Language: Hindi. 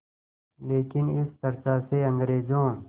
लेकिन इस चर्चा से अंग्रेज़ों